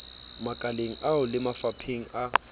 makaleng ao le mafapheng a